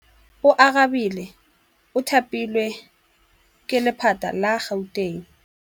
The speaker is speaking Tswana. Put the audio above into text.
Oarabile o thapilwe ke lephata la Gauteng.